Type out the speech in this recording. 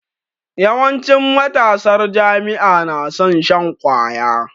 Yawancin matasar jami'a na son shan kwaya